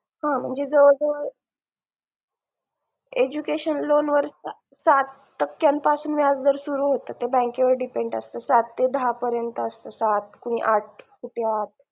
हा म्हणजे जवळजवळ education loan वर साठ टक्क्यांपासून व्याजदर bank वर depend असतं सात ते दहा पर्यंत असतं सात कुणी आठ कुठे आठ